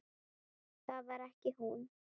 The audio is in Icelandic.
Það var ekki hún.